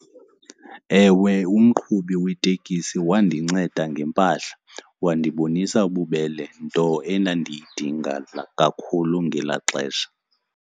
Ewe umqhubi wetekisi wandinceda ngempahla wandibonisa ububele, nto endandiyidinga kakhulu ngelaa xesha.